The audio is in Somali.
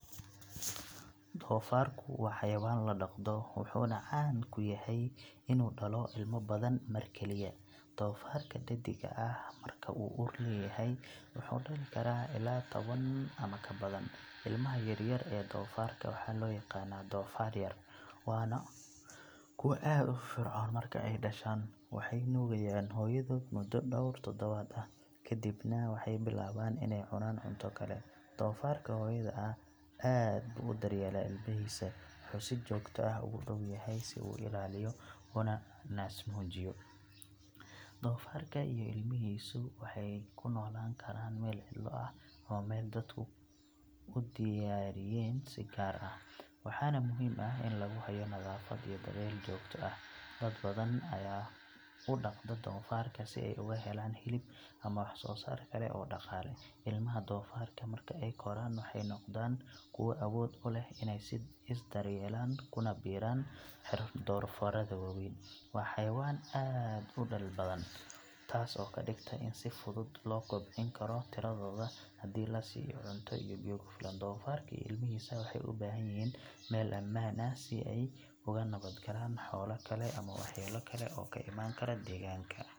Doofaarku waa xayawaan la dhaqdo, wuxuuna caan ku yahay inuu dhalo ilma badan mar keliya. Doofaarka dhaddigga ah marka uu uur leeyahay wuxuu dhali karaa ilaa toban ama ka badan. Ilmaha yar yar ee doofaarka waxaa loo yaqaannaa doofaar yar, waana kuwo aad u firfircoon marka ay dhashaan. Waxay nuugaan hooyadood muddo dhowr toddobaad ah, kadibna waxay bilaabaan inay cunaan cunto kale. Doofaarka hooyada ah aad buu u daryeelaa ilmahiisa, wuxuu si joogto ah ugu dhow yahay si uu u ilaaliyo una naasnuujiyo. Doofaarka iyo ilmahiisu waxay ku noolaan karaan meel cidlo ah ama meel dadku u diyaariyeen si gaar ah, waxaana muhiim ah in lagu hayo nadaafad iyo daryeel joogto ah. Dad badan ayaa u dhaqda doofaarka si ay uga helaan hilib ama wax soo saar kale oo dhaqaale. Ilmaha doofaarka marka ay koraan waxay noqdaan kuwo awood u leh inay is daryeelaan kuna biiraan doofaarrada waaweyn. Waa xayawaan aad u dhal badan, taas oo ka dhigta in si fudud loo kobcin karo tiradooda hadii la siiyo cunto iyo biyo ku filan. Doofaarka iyo ilmahiisa waxay u baahan yihiin meel ammaan ah, si ay uga nabad galaan xoolo kale ama waxyeelo kale oo ka iman karta deegaanka.